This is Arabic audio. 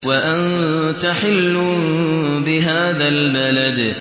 وَأَنتَ حِلٌّ بِهَٰذَا الْبَلَدِ